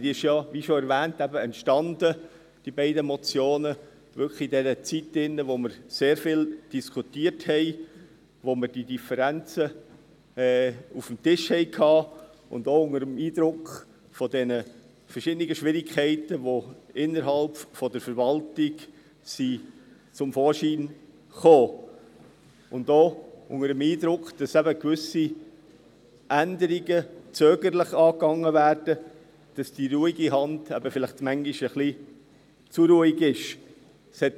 Diese beiden Motionen entstanden – wie schon erwähnt – eben wirklich in dieser Zeit, als wir sehr viel diskutierten, als wir die Differenzen auf dem Tisch hatten und auch unter dem Eindruck von diesen verschiedenen Schwierigkeiten, die innerhalb der Verwaltung zum Vorschein gekommen sind, sowie unter dem Eindruck, dass eben gewisse Änderungen zögerlich angegangen werden und die «ruhige Hand» eben vielleicht manchmal ein wenig zu ruhig ist.